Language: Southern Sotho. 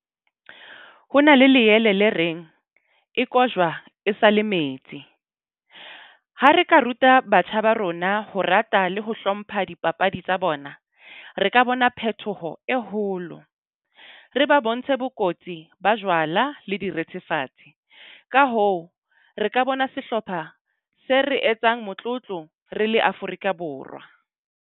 Ho na le leele le reng e kojwa e sale metsi. Ha re ka ruta batjha ba rona ho rata le ho hlompha dipapadi tsa bona, re ka bona phetoho e holo. Re ba bontshe bokotsi, ba jwala le direthefatsi. Ka hoo, re ka bona sehlopha se re etsang motlotlo re le Afrika Borwa.